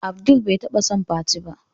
Abdul bai taba son fati ba.